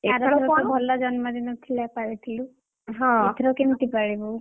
ଭଲ ଜନ୍ମ ଦିନ ଥିଲା ପାଳିଥିଲୁ, ଏଥର କେମିତି ପାଳିବୁ?